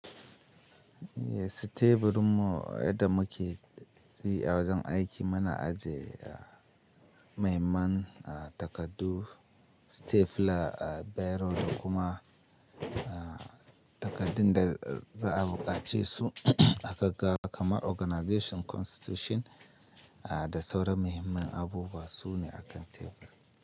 Teburin mu yadda muke dashi wajen aiki muna aje, muhimman, takardu, stapler, biro da kuma, takardun da za a buƙaci su aka ga kamar organization constitution, da sauran muhimman abubuwa su ne akan tebur.